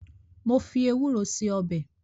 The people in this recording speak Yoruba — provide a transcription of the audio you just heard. Mo fi ewúro ṣe ọbẹ̀